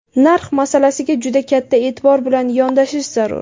Narx masalasiga juda katta e’tibor bilan yondashish zarur.